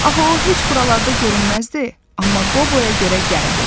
Axı o heç buralarda görünməzdi, amma Qoboya görə gəldi.